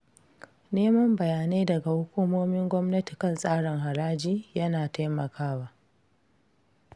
Neman bayanai daga hukumomin gwamnati kan tsarin haraji yana yana taimakawa.